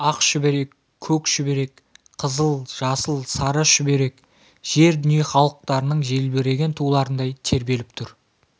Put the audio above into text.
ақ шүберек көк шүберек қызыл жасыл сары шүберек жер дүние халықтарының желбіреген туларындай тербеліп тұр